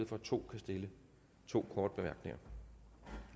for at to kan stille to korte bemærkninger